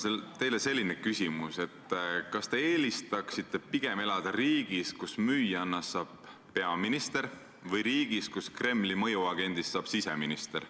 Mul on teile selline küsimus, et kas te eelistaksite elada riigis, kus müüjannast saab peaminister, või pigem riigis, kus Kremli mõjuagendist saab siseminister.